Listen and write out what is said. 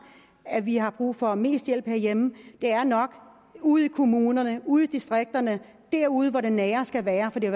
at vi har brug for mest hjælp herhjemme det er nok ude i kommunerne og ude i distrikterne derude hvor det nære skal være for det